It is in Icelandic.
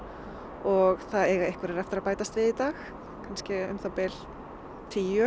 og það eiga einhverjar eftir að bætast við í dag kannski um það bil tíu